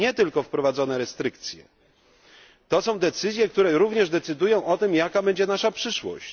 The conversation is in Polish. Nie tylko wprowadzone restrykcje, to są decyzje które również rozstrzygają o tym, jaka będzie nasza przyszłość.